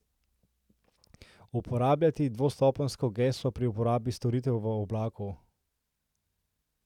Uporabljati dvostopenjsko geslo pri uporabi storitev v oblaku.